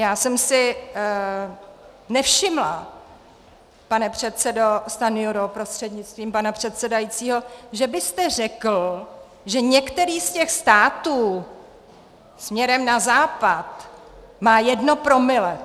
Já jsem si nevšimla, pane předsedo Stanjuro prostřednictvím pana předsedajícího, že byste řekl, že některý z těch států směrem na západ má jedno promile.